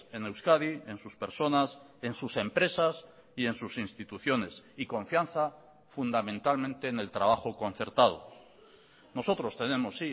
en euskadi en sus personas en sus empresas y en sus instituciones y confianza fundamentalmente en el trabajo concertado nosotros tenemos